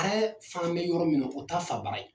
fan bɛ yɔrɔ min na o t'a fabara ye.